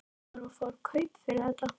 Meinarðu að þú fáir kaup fyrir þetta?